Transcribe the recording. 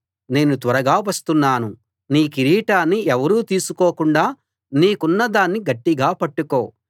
నేను త్వరగా వస్తున్నాను నీ కిరీటాన్ని ఎవరూ తీసుకోకుండా నీకున్న దాన్ని గట్టిగా పట్టుకో